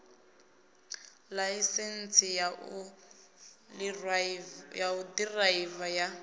ḽaisentsi ya u ḓiraiva ya